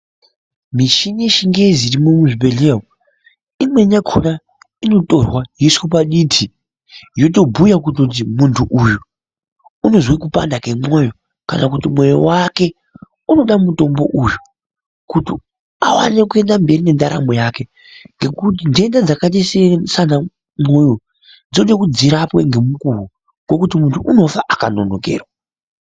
Michini yechingezi irimwo muzvibhedhlera umwu. Imweni yakona inotorwa yoiswe paditi yotobhuya kuti uyu muntu uyu unozwe kupanda kwemoyo kana kuti mwoyo wake unode mutombo uyu kuti awane kuenda mberi nendaramo yake. Ngekuti ntenda dzakaita sanamwoyo dzode kuti dzirapwe ngemukuwo ngekuti muntu unofa akanonokerwa.